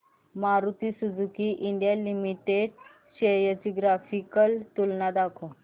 Maruti Suzuki India limited shares ची graphical तुलना दाखव